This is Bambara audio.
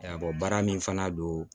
baara min fana don